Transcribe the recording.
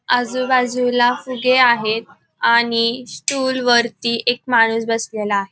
आजूबाजूला फुगे आहे आणि स्टूल वरती एक माणूस बसलेला आ --